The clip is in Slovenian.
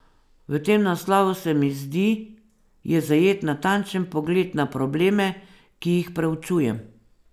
V tem naslovu, se mi zdi, je zajet natančen pogled na probleme, ki jih preučujem.